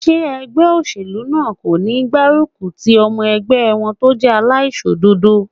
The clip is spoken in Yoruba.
Ṣé ẹgbẹ́ óṣèlú náà kò ní gbárùkù ti ọmọ ẹgbẹ́ wọn tó jẹ́ aláìṣòdodo?